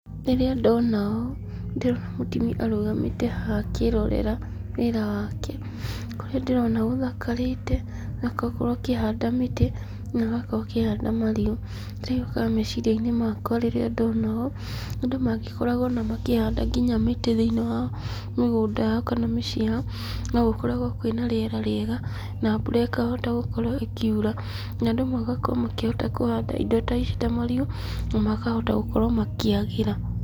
Rĩrĩa ndona ũũ, ndĩrona mũtimia arũgamĩte haha akĩĩrorera wĩra wake ,kũrĩa ndĩrona gũthakarĩte na agakorwo akĩhanda mĩtĩ na agakorwo akĩhanda marigũ. Kĩrĩa gĩũkaga meciria-inĩ makwa rĩrĩa ndona ũũ, andũ mangĩkoragwo o na makĩhanda nginya mĩtĩ thĩiniĩ wa mĩgũnda yao kana mĩciĩ yao, no gũkoragwo kwĩ na rĩera rĩega na mbura ĩkahota gũkorwo ĩkiura, na andũ magakorwo makĩhota kũhanda indo ta ici ta marigũ na makahota gũkorwo makĩagĩra.